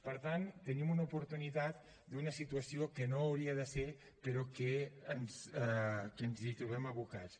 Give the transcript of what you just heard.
per tant tenim una oportunitat d’una situació que no hauria de ser però que ens hi trobem abocats